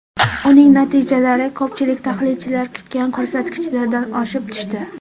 Uning natijalari ko‘pchilik tahlilchilar kutgan ko‘rsatkichlardan oshib tushdi.